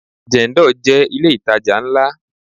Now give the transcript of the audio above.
Jendol jẹ́ ilé itaja ńlá.